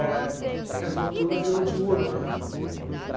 É, a casa noturna virou diurna, né?